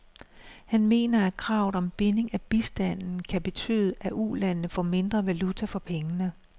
Han mener, at kravet om binding af bistanden kan betyde, at ulandene får mindre valuta for pengene.